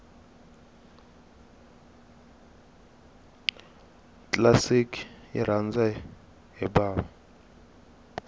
classic yirhandza hhibava